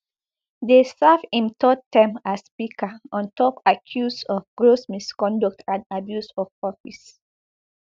dey serve im third term as speaker on top accuse of gross misconduct and abuse of office